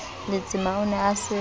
letsema o ne a se